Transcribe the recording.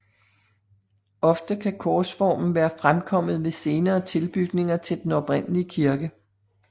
Ofte kan korsformen være fremkommet ved senere tilbygninger til den oprindelige kirke